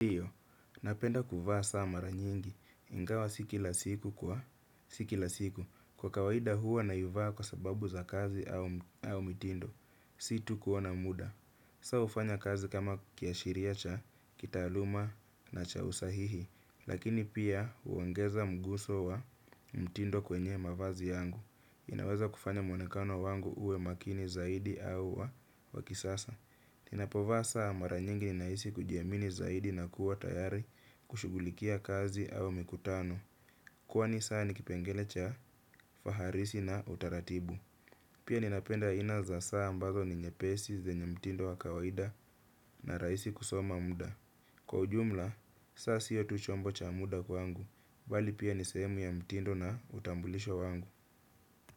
Napenda kuvaa saa mara nyingi, ingawa si kila siku, kwa kawaida huwa naivaa kwa sababu za kazi au mitindo, si tu kuona muda. Saa hufanya kazi kama kiashiria cha, kitaaluma na cha usahihi, lakini pia huongeza mguso wa mtindo kwenye mavazi yangu. Inaweza kufanya muonekano wangu uwe makini zaidi au wa kisasa. Ninapovaa saa mara nyingi ninahisi kujiamini zaidi na kuwa tayari kushughulikia kazi au mikutano. Kwani saa ni kipengele cha faharisi na utaratibu. Pia ninapenda aina za saa ambazo ni nyepesi zenye mtindo wa kawaida na rahisi kusoma muda. Kwa ujumla, saa siyo tu chombo cha muda kwangu, bali pia ni sehemu ya mtindo na utambulisho wangu.